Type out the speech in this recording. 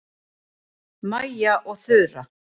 Mæja og Þura